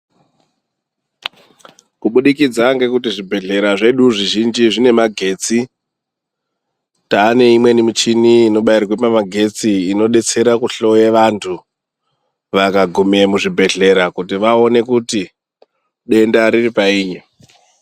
Kubudikidza ngekuti zvibhedhlera zvedu zvizhinji zvine magetsi, taane imweni michini inobairwe pamagetsi inodetsera kuhloye vantu vakagume muzvibhedhlera kuti vaone kuti denda riri painyi.